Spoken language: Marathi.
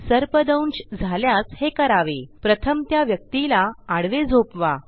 सर्पदंश झाल्यास हे करावे प्रथम त्या व्यक्तीला आडवे झोपवा